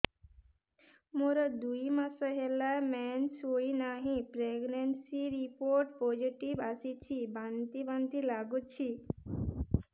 ମୋର ଦୁଇ ମାସ ହେଲା ମେନ୍ସେସ ହୋଇନାହିଁ ପ୍ରେଗନେନସି ରିପୋର୍ଟ ପୋସିଟିଭ ଆସିଛି ବାନ୍ତି ବାନ୍ତି ଲଗୁଛି